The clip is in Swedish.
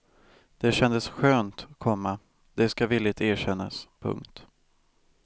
Det kändes skönt, komma det ska villigt erkännas. punkt